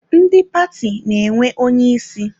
Ndị paati na-enwe onye ịsị.